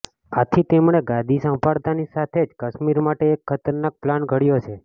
આથી તેમણે ગાદી સંભાળતાની સાથે જ કશ્મીર માટે એક ખતરનાક પ્લાન ઘડ્યો છે